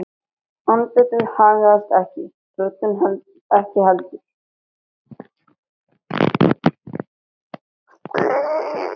Andlitið haggaðist ekki, röddin ekki heldur.